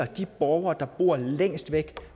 de borgere der bor længst væk